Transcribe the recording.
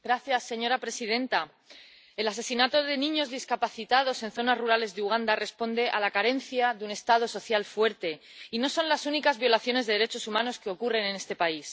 Señora presidenta, el asesinato de niños discapacitados en zonas rurales de Uganda responde a la carencia de un Estado social fuerte, y no son las únicas violaciones de derechos humanos que ocurren en este país.